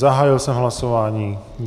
Zahájil jsem hlasování.